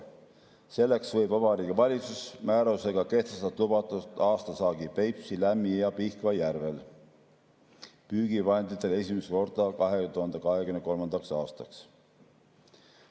Selleks võib Vabariigi Valitsus määrusega kehtestada lubatud aastasaagi Peipsi, Lämmi‑ ja Pihkva järvel püügivahenditele esimest korda 2023. aastaks.